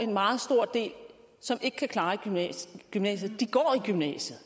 en meget stor del som ikke kan klare gymnasiet i gymnasiet